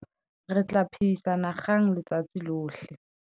re tla phehisana kgang letsatsi lohle